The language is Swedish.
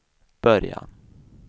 början